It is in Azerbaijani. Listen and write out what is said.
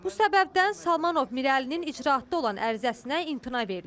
Bu səbəbdən Salmanov Mirəlinin icraatda olan ərizəsinə imtina verilib.